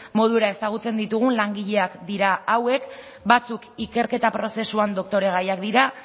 modura ezagutzen ditugun langileak dira hauek batzuk ikerketa prozesuan doktoregaiak dira